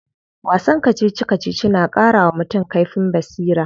Wasan kacici kacici na karawa mutum kaifin basira.